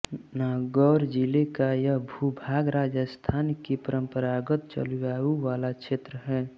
नागौर जिले का यह भू भाग राजस्थान की परम्परागत जलवायु वाला क्षेत्र है